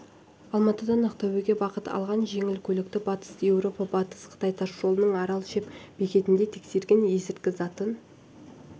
алматыдан ақтөбеге бағыт алған жеңіл көлікті батыс еуропа-батыс қытай тас жолының арал-шеп бекетінде тексерген есірткі затын